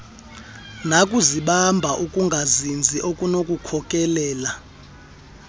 nakuzibamba ukungazinzi okunokukhokelela